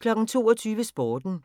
22:00: Sporten